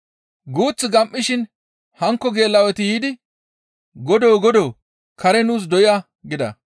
«Guuth gam7ishe hankko geela7oti yiidi, ‹Godoo! Godoo! Kare nuus doya!› gida.